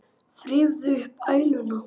Þrífðu upp æluna.